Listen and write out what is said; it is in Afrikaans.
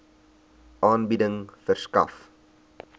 aanbieding verskaf